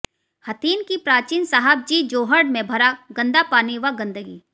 हथीन की प्राचीन साहब जी जोहड़ में भरा गंदा पानी व गंदगी